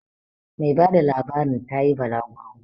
Mai bada labarin ta yi balaguro